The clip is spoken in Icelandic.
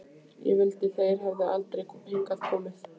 Ég vildi þeir hefðu aldrei hingað komið.